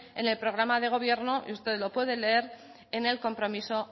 en el programa de gobierno y usted lo puede leer en el compromiso